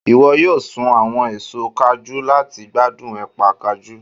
iwọ yọọ sún awọn èso kajú lati gbadun épà kajú